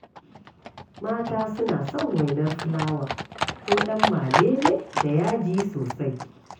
Mata suna son wainar filawa ko ɗan malele da yaji sosai.